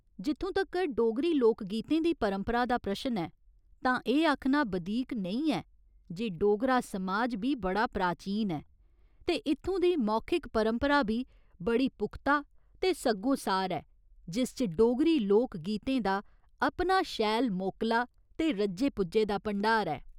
जित्थूं तगर डोगरी लोक गीतें दी परंपरा दा प्रश्न ऐ तां एह् आखना बधीक नेईं ऐ जे डोगरा समाज बी बड़ा प्राचीन ऐ ते इत्थूं दी मौखिक परंपरा बी बड़ी पुख्ता ते सग्गोसार ऐ, जिस च डोगरी लोक गीतें दा अपना शैल मोकला ते रज्जे पुज्जे दा भंडार ऐ।